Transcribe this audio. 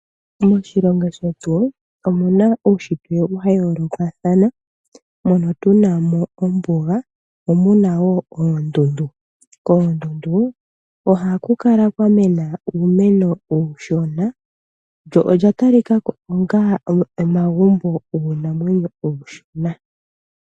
Moshilongo shetu omu na uushitwe wa yoolokathana. Mono tu na mo ombuga mo mu na wo oondundu. Koondundu ohaku kala kwa mena uumeno uushona, lyo olya talika ko onga omagumbo guunamwenyo uushona.